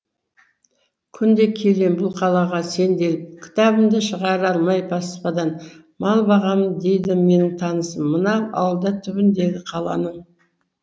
күнде келем бұл қалаға сенделіп кітабымды шығара алмай баспадан мал бағамын дейді менің танысым мына ауылда түбіндегі қаланың